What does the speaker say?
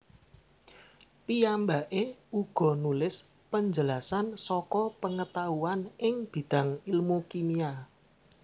Piyambaké uga nulis penjelasan saka pengetahuan ing bidang ilmu kimia